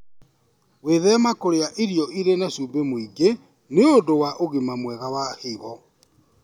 Wĩthema kũrĩa irio irĩ na cumbĩ mũingĩ nĩ ũndũ wa ũgima mwega wa higo.